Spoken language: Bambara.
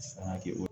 San kɛ o